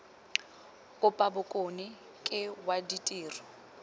kapa bokone ke wa ditiro